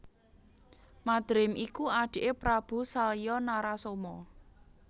Madrim iku adiké Prabu Salya Narasoma